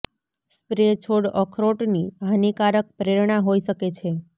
spray છોડ અખરોટ ની હાનિકારક પ્રેરણા હોઈ શકે છે